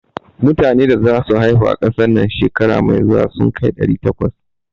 Metane da za su haihu a ƙasar nan shekara mai zuwa sun kai ɗari takwas.